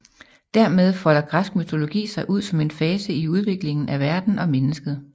Dermed folder græsk mytologi sig ud som en fase i udviklingen af verden og mennesket